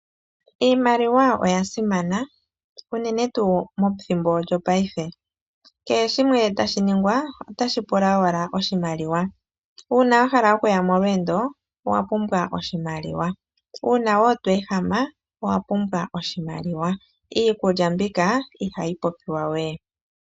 Iimaliwa oyasimana uunene tuu methimbo lyo paife kehe shimwe tashiningwa otashipula owala oshimaliwa una wahala okuya molweendo owapumbwa oshimaliwa ,una tweehama owapumbwa oshimaliwa iikulya mbika ihayi popiwa wee.